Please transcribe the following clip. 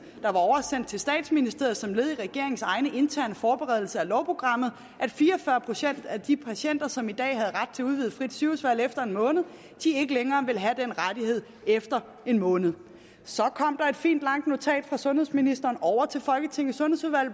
oversendt til statsministeriet som led i regeringens egne interne forberedelse af lovprogrammet som at fire og fyrre procent af de patienter som i dag havde ret til udvidet frit sygehusvalg efter en måned ikke længere ville have den rettighed efter en måned så kom der fint langt notat fra sundhedsministeren over til folketingets sundhedsudvalg